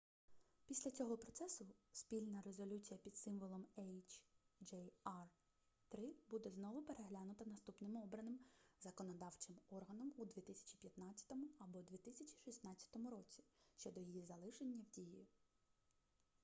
після цього процесу спільна резолюція під символом hjr-3 буде знову переглянута наступним обраним законодавчим органом у 2015 або 2016 році щодо її залишення в дії